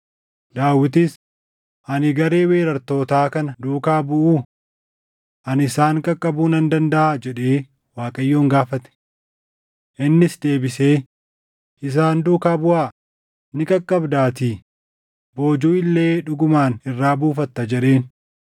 Daawitis, “Ani garee weerartootaa kana duukaa buʼuu? Ani isaan qaqqabuu nan dandaʼaa?” jedhee Waaqayyoon gaafate. Innis deebisee, “Isaan duukaa buʼaa; ni qaqqabdaatii; boojuu illee dhugumaan irraa buufatta” jedheen.